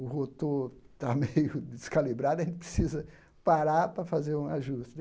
O rotor tá meio descalibrado, a gente precisa parar para fazer um ajuste.